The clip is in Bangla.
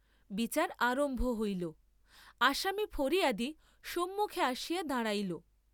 বিচার আরম্ভ হইল, আসামী ফরিয়াদী সম্মুখে আসিয়া দাঁড়াইল।